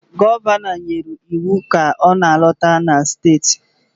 Ee, Gọvanọ nyere iwu ka ọ na-alọta na steeti